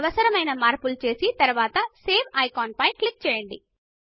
అవసరమైన మార్పులు చేసిన తరువాత సేవ్ ఐకాన్ పైన క్లిక్ చేయండి